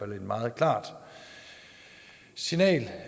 meget klart signal